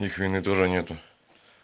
их у меня тоже нету